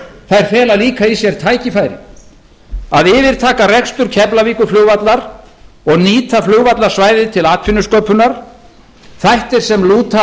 þær fela líka í sér tækifæri að yfirtaka rekstur keflavíkurflugvallar og nýta flugvallarsvæðið til atvinnusköpunar þættir sem lúta að